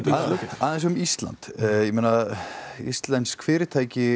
aðeins um Ísland íslensk fyrirtæki